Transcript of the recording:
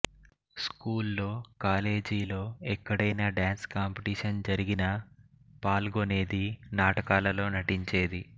స్కూల్లో కాలేజీలో ఎక్కడైనా డాన్స్ కాంపిటీషన్ జరిగినా పాల్గొనేది నాటకాలలో నటించేది